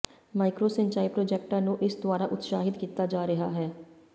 micro ਸਿੰਚਾਈ ਪ੍ਰਾਜੈਕਟਾਂ ਨੂੰ ਇਸ ਦੁਆਰਾ ਉਤਸ਼ਾਹਤ ਕੀਤਾ ਜਾ ਰਿਹਾ ਹੈ